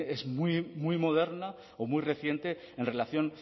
es muy moderna o muy reciente en relación